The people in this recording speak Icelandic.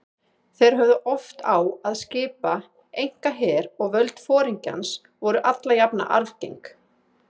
Þeir höfðu oft á að skipa einkaher og völd foringjans voru alla jafna arfgeng.